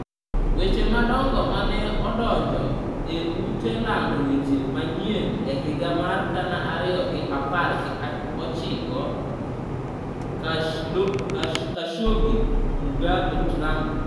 Weche madongo mane odonjo e ute lando weche manyien e higa mar gana ariyo gi apar gi ochiko: Khashoggi, Mugabe, Trump.